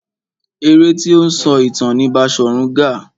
Eré tí ó ń sọ ìtàn ni Baṣòrun Gaa.